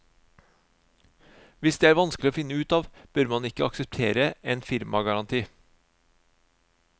Hvis det er vanskelig å finne ut av, bør man ikke akseptere en firmagaranti.